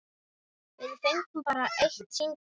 Við fengum bara eitt símtal.